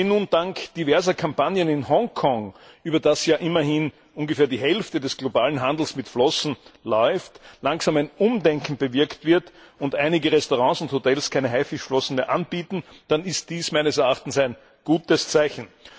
Wenn nun dank diverser Kampagnen in Hongkong, über das ja immerhin ungefähr die Hälfte des globalen Handels mit Flossen läuft, langsam ein Umdenken bewirkt wird und einige Restaurants und Hotels keine Haifischflossen mehr anbieten, dann ist dies meines Erachtens ein gutes Zeichen.